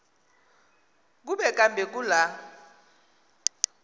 kuba kambe kula